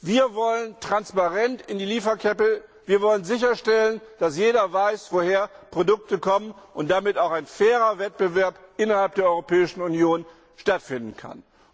Wir wollen Transparenz in der Lieferkette, wir wollen sicherstellen, dass jeder weiß, woher Produkte kommen und so auch ein fairer Wettbewerb innerhalb der Europäischen Union stattfinden kann.